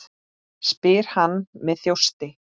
spyr hann með þjósti.